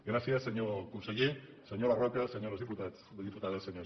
gràcies senyor conseller senyora roca senyores diputades senyors diputats